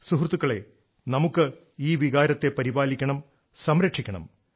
സുഹൃത്തുക്കളേ നമ്മുക്ക് ഈ വികാരത്തെ പരിപാലിക്കണം സംരക്ഷിക്കണം